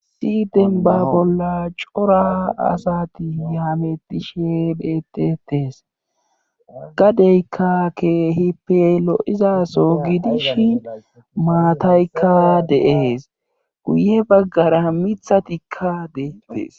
Issi dembba bolla cora asati hamettishe deetees gdeykka keehippe lo7izasoo gidishin maataykka de7ees guye baggara mithatikka beettees.